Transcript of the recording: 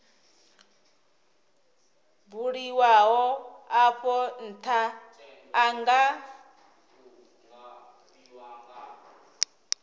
buliwaho afho ntha a nga